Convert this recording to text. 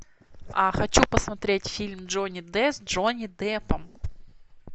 хочу посмотреть фильм джонни д с джонни деппом